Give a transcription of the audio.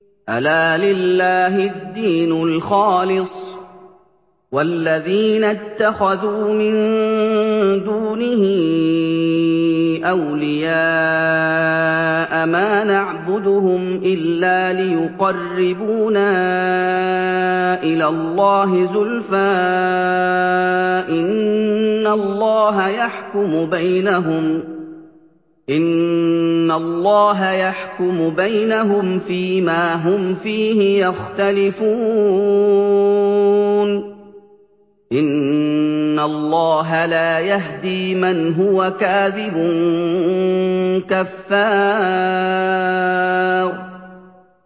أَلَا لِلَّهِ الدِّينُ الْخَالِصُ ۚ وَالَّذِينَ اتَّخَذُوا مِن دُونِهِ أَوْلِيَاءَ مَا نَعْبُدُهُمْ إِلَّا لِيُقَرِّبُونَا إِلَى اللَّهِ زُلْفَىٰ إِنَّ اللَّهَ يَحْكُمُ بَيْنَهُمْ فِي مَا هُمْ فِيهِ يَخْتَلِفُونَ ۗ إِنَّ اللَّهَ لَا يَهْدِي مَنْ هُوَ كَاذِبٌ كَفَّارٌ